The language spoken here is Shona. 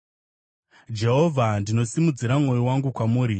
Jehovha, ndinosimudzira mwoyo wangu kwamuri;